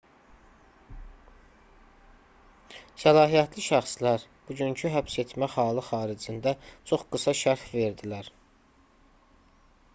səlahiyyətli şəxslər bugünkü həbsetmə halı xaricində çox qısa şərh verdilər